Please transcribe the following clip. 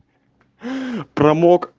аа промок